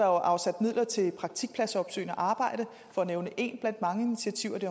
er afsat midler til det praktikpladsopsøgende arbejde for at nævne ét blandt mange initiativer det